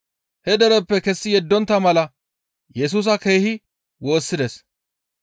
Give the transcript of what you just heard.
He dereppe kessi yeddontta mala Yesusa keehi woossides.